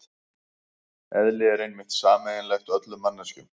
Eðli er einmitt sameiginlegt öllum manneskjum.